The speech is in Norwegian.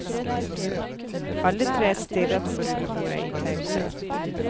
Alle tre stirret på rullebordet i taushet.